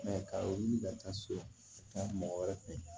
ka wuli ka taa so ka taa mɔgɔ wɛrɛ fɛ